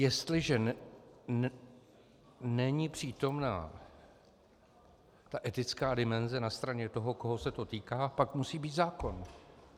Jestliže není přítomna ta etická dimenze na straně toho, koho se to týká, pak musí být zákon.